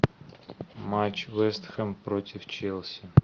матч вестхем против челси